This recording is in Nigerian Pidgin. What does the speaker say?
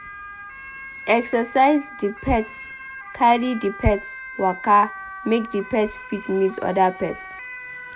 Exercise di pet carry di pet waka make di pet fit meet oda pet